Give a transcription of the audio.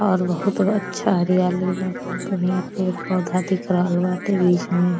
और बहुत अच्छा हरियाली बा। बहुत बढ़िया पेड़ पौधा दिख रहल बाटे बिच में।